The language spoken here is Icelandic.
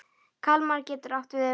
Kalmar getur átt við um